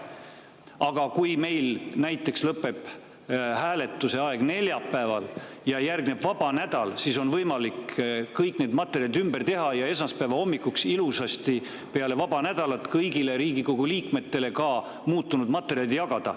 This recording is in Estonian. Aga kui meil näiteks lõpeb neljapäeval aeg ja järgneb vaba nädal, siis on võimalik kõik need materjalid ümber teha ja esmaspäeva hommikuks peale vaba nädalat ilusasti kõigile Riigikogu liikmetele muutunud materjalid jagada.